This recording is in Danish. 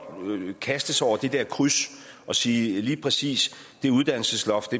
kaste sig over det dér kryds og sige at lige præcis det uddannelsesloft